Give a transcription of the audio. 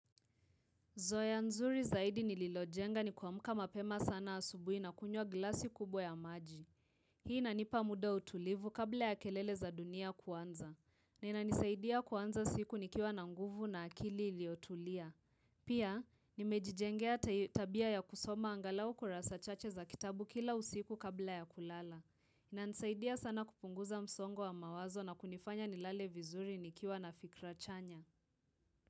Zoea nzuri zaidi nililojenga ni kuamka mapema sana asubuhi na kunywa glasi kubwa ya maji. Hii inanipa muda wa utulivu kabla ya kelele za dunia kuanza. Na inanisaidia kuanza siku nikiwa na nguvu na akili iliyotulia. Pia, nimejijengea tabia ya kusoma angalau kurasa chache za kitabu kila usiku kabla ya kulala. Inanisaidia sana kupunguza msongo wa mawazo na kunifanya nilale vizuri nikiwa na fikra chanya.